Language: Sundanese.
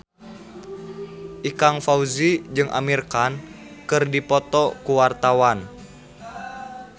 Ikang Fawzi jeung Amir Khan keur dipoto ku wartawan